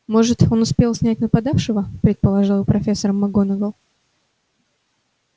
может он успел снять нападавшего предположил профессор макгонагалл